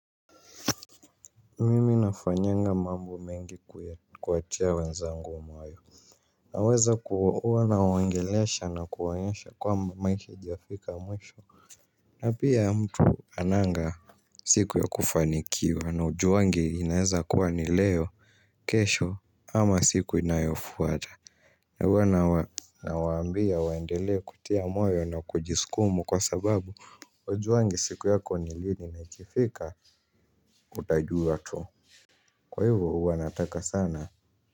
Mimi nafanyanga mambo mengi kuwatia wenzangu moyo naweza ku huwa nawaongelesha na kuwaonyesha kwamba maisha haijafika mwisho. Na pia mtu hananga siku ya kufanikiwa na hujuangi inaeza kuwa ni leo. Kesho ama siku inayofuata. Na huwa nawaambia waendele kutia moyo na kujiskumu kwa sababu hujuangi siku yako ni lini na ikifika utajua tu. Kwa hivo huwa nataka sana.